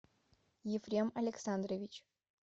ефрем александрович